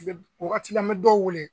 wagatila n be dɔw wele.